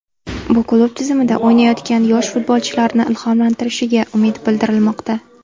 Bu klub tizimida o‘ynayotgan yosh futbolchilarni ilhomlantirishiga umid bildirilmoqda.